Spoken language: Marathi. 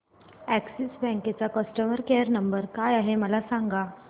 अॅक्सिस बँक चा कस्टमर केयर नंबर काय आहे मला सांगा